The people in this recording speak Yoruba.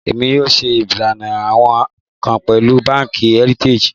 Emi yoo ṣe ilana awin kan pẹlu banki Heritage